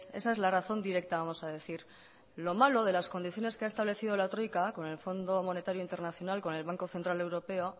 esa es la razón directa vamos a decir lo malo de las condiciones que ha establecido la troika con el fondo monetario internacional con el banco central europeo